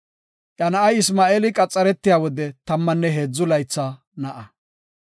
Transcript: Iya na7ay Isma7eeli qaxaretiya wode tammanne heedzu laytha na7a.